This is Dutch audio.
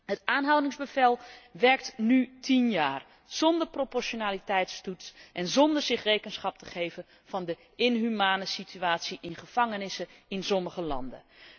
Het aanhoudingsbevel werkt nu tien jaar zonder proportionaliteitstoets en zonder zich rekenschap te geven van de inhumane situatie in gevangenissen in sommige landen.